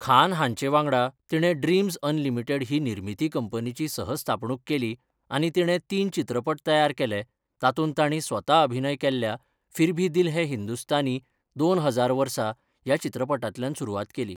खान हांचे वांगडा तिणें ड्रीमझ अनलिमिटेड ही निर्मिती कंपनीची सह स्थापणूक केली आनी तिणें तीन चित्रपट तयार केले, तातूंत तांणी स्वता अभिनय केल्ल्या फिर भी दिल है हिंदुस्तानी दोन हजार वर्सा ह्या चित्रपटांतल्यान सुरवात केली.